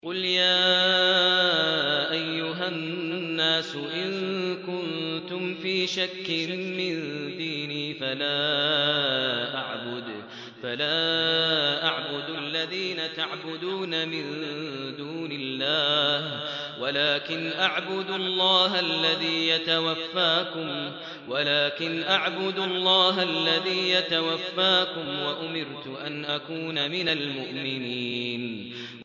قُلْ يَا أَيُّهَا النَّاسُ إِن كُنتُمْ فِي شَكٍّ مِّن دِينِي فَلَا أَعْبُدُ الَّذِينَ تَعْبُدُونَ مِن دُونِ اللَّهِ وَلَٰكِنْ أَعْبُدُ اللَّهَ الَّذِي يَتَوَفَّاكُمْ ۖ وَأُمِرْتُ أَنْ أَكُونَ مِنَ الْمُؤْمِنِينَ